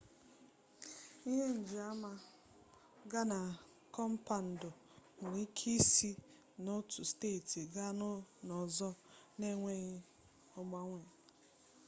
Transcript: ihe njiama ga na kọmpandu nwere ike isi n'otu steeti gaa n'ọzọ n'enweghị agbanwe